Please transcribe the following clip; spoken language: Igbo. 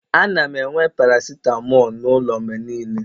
ana m enwe paracetamol n'ụlọ mgbe niile